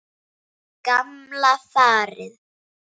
Gamla farið.